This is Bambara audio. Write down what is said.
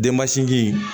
Denmasinji in